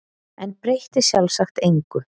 En breytti sjálfsagt engu.